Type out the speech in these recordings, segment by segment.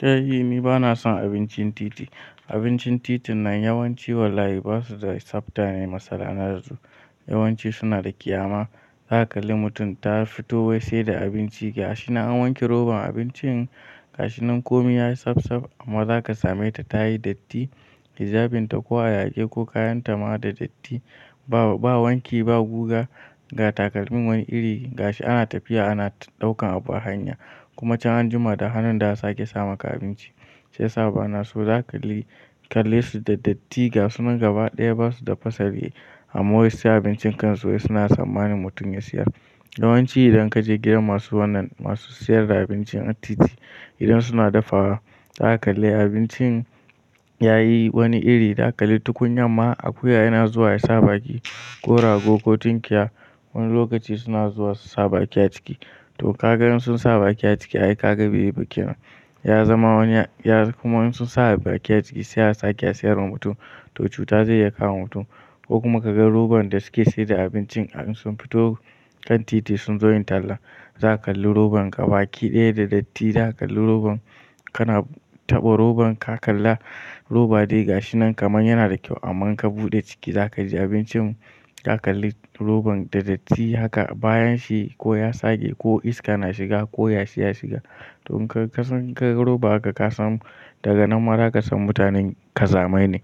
Kai, ni bana son abincin titi. Abincin titin nan yawanci wallahi ba su da tsabta ne, matsala na su yawanci suna da ƙyama. Za ka kalli mutum ta fito wai sai da abinci gashi nan an wanke robar abinci gashinan komi yayi safsaf. Amma za ka same ta tayi datti, hijabin ta ko a yage ko kayan ta ma da datti. Ba wanki ba guga ga takalmin wani iri gashi ana tafiya ana ɗaukan abu a hanya. Kuma can an jima da hannun da aka sake sama ka abinci. Sai sa'a bana so, za ka kalle su da datti gashinan gaba ɗaya ba su da fasali. Amma wai sai abincin kan su wai suna sammanin mutum ya siya. Yawanci idan ka je gidan masu wannan masu sayar da abinci a titi, idan suna dafawa za ka kalli abinci yayi wani iri. Za ka kalli tukunya ma akuya yana zuwa ya sa baki ko rago ko tunkiya. Wani lokaci suna zuwa su sa baki a ciki. To ka ga in sun sa baki a ciki ai ka ga ba yi ba kenan ya zama wani ya kuma in sun sa baki a ciki sai asake sayar wa mutum to cuta zai iya kama mutum. Ko kuma ka ga robar da suke sayar da abinci a in sun fito kan titi sun zo yin talla. Za ka kalli robar gaba ki ɗaya da datti. Za ka kalli robar kana taɓa robar ka kalla roba dai gashi nan kamar yana da kyau. Amma in ka buɗe ciki za kaji abincin, za ka kalli robar da datti haka bayan shi ko ya sake ko iska na shiga ko yashi ya shiga. To ka san roba haka ka san daga nan mara ka san mutanen kazame ne.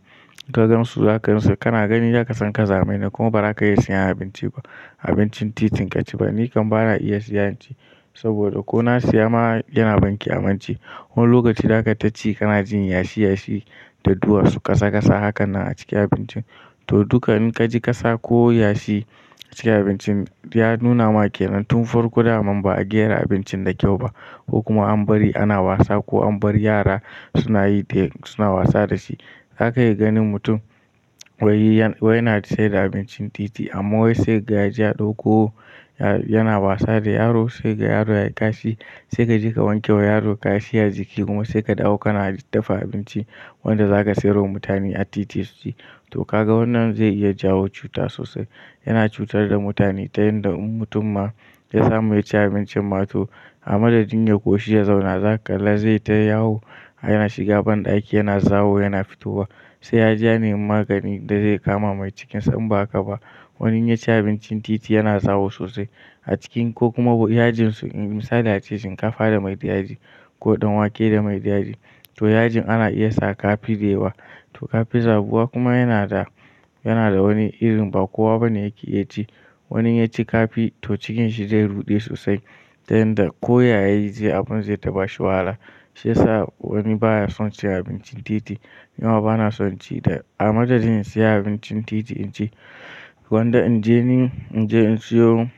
Ka gan su za ka gansu kana gani za ka san kazame ne kuma ba za ka iya sayan abinci ba. Abincin titin ka ci ba. Ni kam bana iya siya yanci saboda ko na siya ma yana ban ƙyamance. Wani lokaci za ka taci kana jin yashi yashi da duwatsu kasa kasa hakan nan a ciki abincin. To duka in ka ji kasa ko yashi a cikin abincin ya nuna ma ƙenan tun farko da'an ma ba a gyara abincin da kyau ba. Ko kuma an bari ana wasa ko an bari yara suna yi suna wasa da shi. Za ka iya ganin mutum wai yana sayar da abincin titi amma wai sai ga jiya ɗauko yana wasa da yaro sai ga yaro yayi kashi. Sai ka je ka wanke wa yaro kashi ya jiƙi kuma sai ka ɗauka na dafa abinci wanda za ka sayar wa mutane a titi su ci. To ka ga wannan zai iya jawo cuta sosai. Yana cutar da mutane ta yanda in mutum ma ya samu ya ci abincin ma to a madadin ya koshi ya zauna za ka kalla zai tayahu. Yana shiga banɗaki yana zawo yana fitowa. Sai ya jiya ne magani da zai kama mai cikinsa in ba haka ba. Wani ya ci abincin titi yana zawo sosai a ciki ko kuma yajin su misali ace shinkafa da mai da yaji ko ɗanwake da mai da yaji. To yajin ana iya saka kafi daiwa. To kafi zabuwa kuma yana da, yana da wani irin ba kowa bane yake iya ci. Wani inya ci kafi to cikinsa zai ruɗe sosai ta yanda ko yayi abun zai taɓa shi wahala. Sai sa'a wani baya son ci abincin titi. Nima bana son ci da a madadin siya abincin titi in ci gwanda in je ni in je in siyo,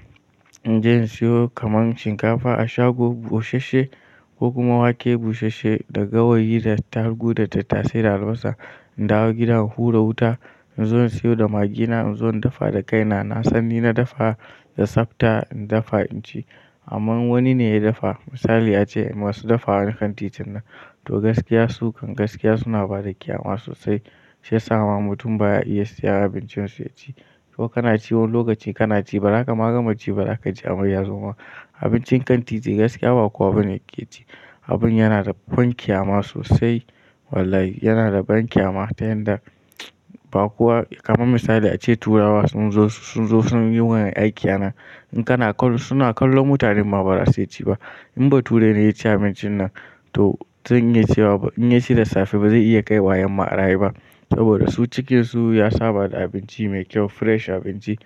in je in siyo kamar shinkafa a shago busasshe ko kuma wake busasshe da gawayi da ta gu da tatase day albosa. In dawo gida in hura wuta in zo in siyo da magina in zo in dafa da kaina. Na san ni na dafa da tsabta in dafa in ci. Amma wani ne ya dafa misali ace masu dafa wa kan titin nan to gaskiya su kan gaskiya suna bada ƙyama sosai. Sai sa'a ma mutum baya iya siya abincin su ya ci. To ka na ci wani lokaci kana ci ba zaka ma gamaci ba za ka ji amai ya zo ma. Abincin kan titi gaskiya ba kowa bane yake ci. Abun yana da ƙwan ƙyama sosai wallahi yana da banƙyama ta yanda ba kowa kamar misali ace turawa sun zo sun zo sun yi wannan aikin nan. In kana kallo suna kallon mutane ma ba za su iya ci ba. In ba turai ne ya ci abincin nan to in ya ci da safe ba zai iya kai wa yarma ara yi ba. Saboda su cikinsu ya saba da abinci mai kyau fresh abinci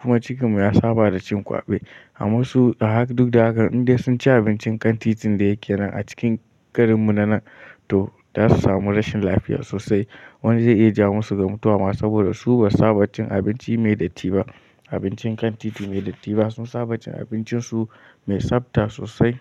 kuma cikin mu ya saba da cin ƙwabe. Amma su duk da haka in dai sun ci abincin kan titin da yake nan a cikin karin mu na nan to za su samu rashin lafiya sosai. Wani zai iya jawo musu ga mutuwa saboda su ba saba cikin abinci mai datti ba. Abincin kan titi mai datti ba sun saba cikin abincin su mai tsabta sosai.